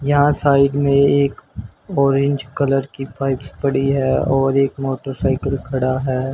यहां साइड में एक ऑरेंज कलर की पाइप्स पड़ी है और एक मोटरसाइकिल खड़ा है।